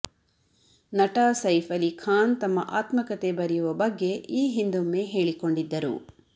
ನಟ ಸೈಫ್ ಅಲಿ ಖಾನ್ ತಮ್ಮ ಆತ್ಮಕತೆ ಬರೆಯುವ ಬಗ್ಗೆ ಈ ಹಿಂದೊಮ್ಮೆ ಹೇಳಿಕೊಂಡಿದ್ದರು